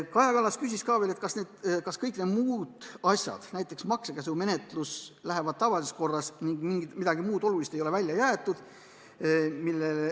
Kaja Kallas küsis, kas kõik muud asjad, näiteks maksekäsumenetlus, lähevad tavalises korras ning midagi muud olulist ei ole välja jäetud.